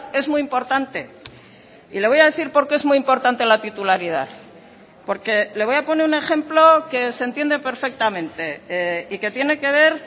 es muy importante y le voy a decir por qué es muy importante la titularidad porque le voy a poner un ejemplo que se entiende perfectamente y que tiene que ver